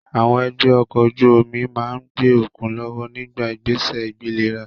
Àwọn ẹgbẹ́ ọkọ̀ ojú omi máa ń gbé okùn lọ́wọ́ nígbà ìgbésẹ̀ ìgbéléra